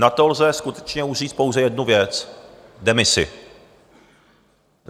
Na to lze skutečně říct už pouze jednu věc - demisi!